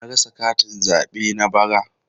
Na rasa katin zabe na bara.